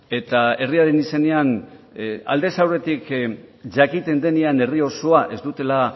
eta herriaren izenean aldez aurretik jakiten denean herri osoa ez dutela